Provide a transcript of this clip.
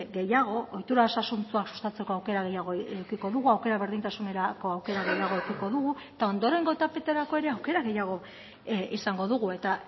gehiago ohitura osasuntsua sustatzeko aukera gehiago edukiko dugu aukera berdintasunerako aukera gehiago edukiko dugu eta ondorengo etapetarako ere aukera gehiago izango dugu eta